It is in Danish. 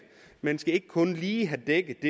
man skal ikke kun lige have dækket